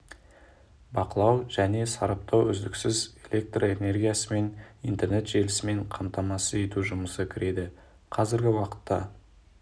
бақылау және сараптау үздіксіз электр энергиясы мен интернет желісімен қамтамасыз ету жұмысы кіреді қазіргі уақытта